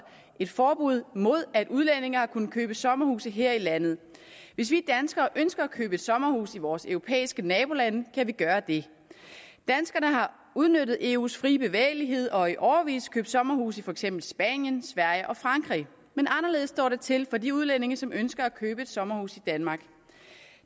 et forbud mod at udlændinge har kunnet købe sommerhuse her i landet hvis vi danskere ønsker at købe et sommerhus i vores europæiske nabolande kan vi gøre det danskerne har udnyttet eus fri bevægelighed og i årevis købt sommerhuse i for eksempel spanien sverige og frankrig men anderledes står det til med de udlændinge som ønsker at købe et sommerhus i danmark